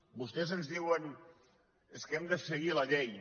vostès ens diuen és que hem de se·guir la llei